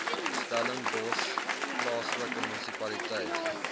stellenbosch plaaslike munisipaliteit